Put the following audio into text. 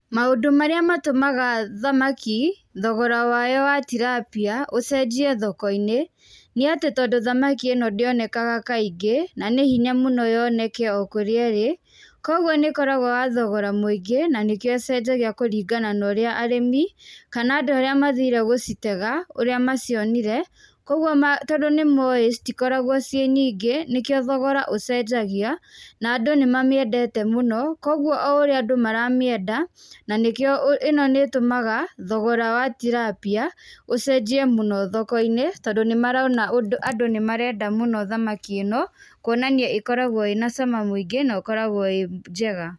Maũndũ marĩa matũmaga thamakĩ thogora wayo wa tilapia ũcenjie thoko-inĩ nĩ atĩ tondũ thamakĩ ĩ no ndĩonekanaga kaingĩ na nĩ hinya mũno yoneke o kũrĩa ĩrĩ, kogwo nĩ koragwo na thogora mũingi na nĩkĩo ucenjagia kũringana na ũrĩa arĩmi kana andũ arĩa mathire gũcitega ũrĩa macionire, kogwo tondũ nĩ mowĩ citikoragwo cĩ nyingĩ nĩkio thogora ũcenjagia na andũ nĩ mamĩendete mũno, kogwo o ũria andũ maramĩenda na nĩkĩo ĩ no nĩtũmaga thogora wa tilapia ũcenjie mũno thoko-inĩ tondũ nĩmarona andũ nĩmarenda mũno thamaki ĩ no kũonania ikoragwo ĩ na cama mũingĩ na ũkoragwo ĩ njega.